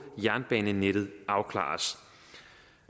jernbanenettet afklares